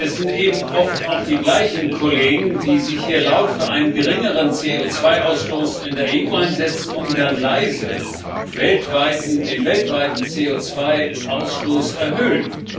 Es sind eben oft auch die gleichen Kollegen, die sich hier laut für einen geringeren CO2 Ausstoß in der EU einsetzen und dann leise den weltweiten CO2 Ausstoß erhöhen.